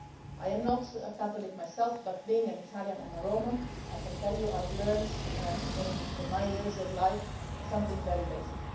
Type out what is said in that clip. I am not a Catholic myself, but being an Italian and a Roman, I can tell you that I have learnt in in my years of life something very basic.